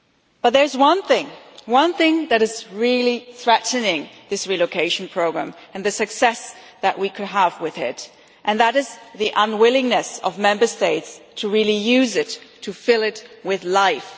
But there is one thing, one thing that is really threatening this relocation programme and the success that we could have with it, and that is the unwillingness of Member States to really use it, to fill it with life.